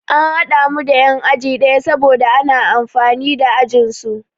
An haɗa mu da yan'aji ɗaya saboda ana amfani da ajinsu.